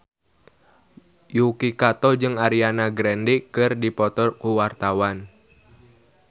Yuki Kato jeung Ariana Grande keur dipoto ku wartawan